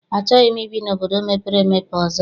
Achọghị m ibi n'obodo mepere emepe ọzọ.